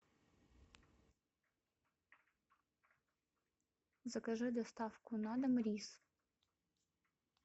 закажи доставку на дом рис